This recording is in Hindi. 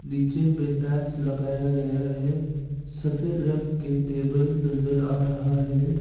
नीचे में टाइल्स लगाया गया है सफेद रंग के टेबल नजर आ रहा है।